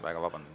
Väga vabandan.